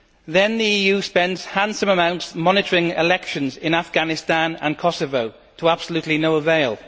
Then the EU spends handsome amounts monitoring elections in Afghanistan and Kosovo, to absolutely no avail.